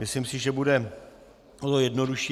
Myslím si, že to bude jednodušší.